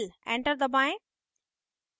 enter दबाएं